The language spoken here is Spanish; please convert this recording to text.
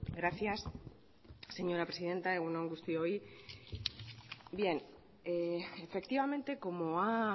gracias señora presidenta egun on guztioi efectivamente como ha